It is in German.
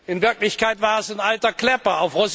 In Wirklichkeit war es ein alter Klepper.